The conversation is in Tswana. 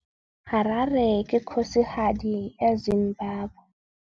Harare ke kgosigadi ya Zimbabwe.